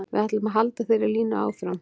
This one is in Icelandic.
Við ætlum að halda þeirri línu áfram.